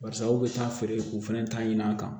Barisa aw bɛ taa feere k'u fana ta ɲini an kan